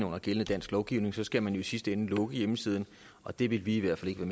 under gældende dansk lovgivning så skal man jo i sidste ende lukke hjemmesiden og det vil vi i hvert fald ikke